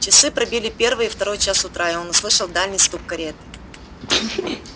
часы пробили первый и второй час утра и он услышал дальний стук кареты